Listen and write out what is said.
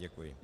Děkuji.